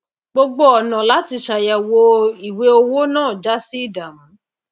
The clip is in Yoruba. gbogbo ònà láti sàyèwò ìwé owo náà jásí ìdàmú